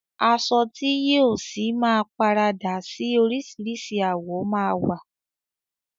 Aṣọ ti yìí ọ sí máa paradà síí orisirisi àwọ̀ ma wa.